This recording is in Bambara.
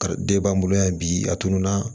de b'an bolo yan bi a tununna